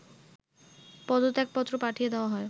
পদত্যাগ পত্র পাঠিয়ে দেওয়া হয়